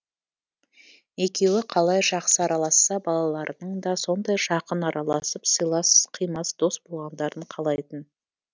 екеуі қалай жақсы араласса балаларының да сондай жақын араласып сыйлас қимас дос болғандарын қалайтын